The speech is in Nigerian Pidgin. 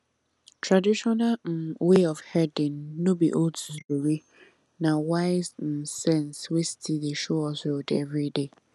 traditional um way of herding no be old story um na wise um sense wey still dey show us road every day